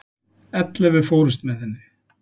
Ellefu fórust með henni.